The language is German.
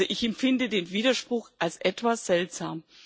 Also ich empfinde den Widerspruch als etwas seltsam.